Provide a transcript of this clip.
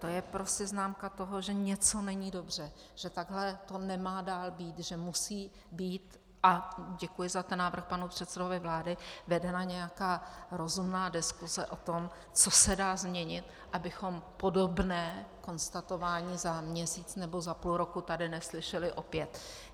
To je prostě známka toho, že něco není dobře, že takhle to nemá dál být, že musí být - a děkuji za ten návrh panu předsedovi vlády - vedena nějaká rozumná diskuse o tom, co se dá změnit, abychom podobné konstatování za měsíc nebo za půl roku tady neslyšeli opět.